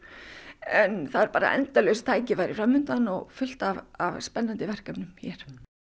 en það eru endalaus tækifæri fram undan og fullt af spennandi verkefnum hér